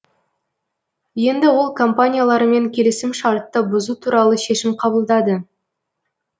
енді ол компаниялармен келісімшартты бұзу туралы шешім қабылдады